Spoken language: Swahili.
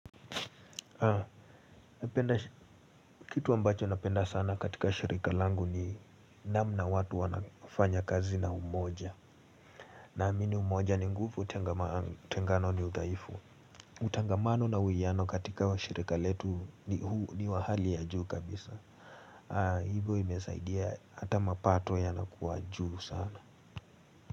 Kitu ambacho napenda sana katika shirika langu ni namna watu wanafanya kazi na umoja. Na amini umoja ni nguvu utengano ni udhaifu. Utangamano na uiano katika shirika letu ni wa hali ya juu kabisa. Hivo imesaidia ata mapato yanakuwa juu sana.